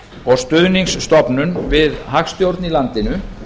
og stuðningsstofnun við hagstjórn í landinu